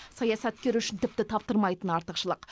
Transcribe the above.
саясаткер үшін тіпті таптырмайтын артықшылық